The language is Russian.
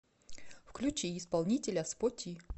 включи исполнителя споти